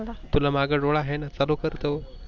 तुला माग डोळा आहे चालू कर तो.